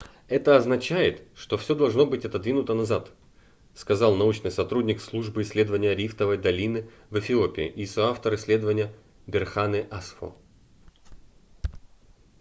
это означает что всё должно быть отодвинуто назад - сказал научный сотрудник службы исследования рифтовой долины в эфиопии и соавтор исследования берхане асфо